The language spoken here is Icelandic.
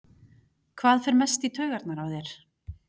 Hver fer mest í taugarnar á þér?